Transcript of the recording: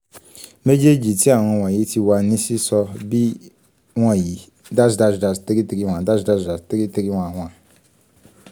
mejeji ti awọn wọnyi ti wa ni sísọ bi wọnyi: dash dash dash three three one dash dash dash three three one one